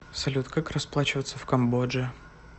салют как расплачиваться в камбодже